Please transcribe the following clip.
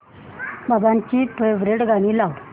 बाबांची फेवरिट गाणी लाव